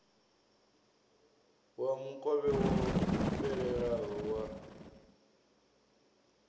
wa mukovhe wo fhelelaho wa